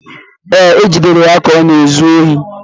Ee, e jidere ya ka ọ na-ezu ohi